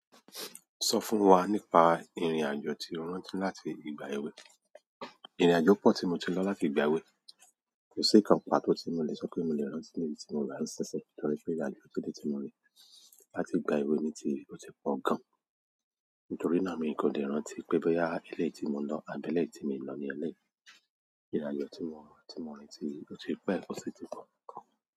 Sọ fún wa ní pa ìrìn àjò tí o rántí là tí ìgbà ewé. Ìrìn-àjò pọ̀ tí mo ti lọ láti ìgbà èwe. Kò sí kan pà tó ti mo mi le sọ pé mo le rántí níbi tí mo rà á ṣinṣin torí pé ìrìn-àjò tí lè ti mo rí láti ìgbà èwe mi ti o ti pọ̀ gan-an. Nítorí náà mi kò lè rántí pé bóyá elé yi tí mo lọ, àbí é lé tí mo lọ ní eléyìí. Ìrìn-àjò tí mo rí, tí mo rí ti o ti pẹ́ o sì ti pọ̀ gan-an.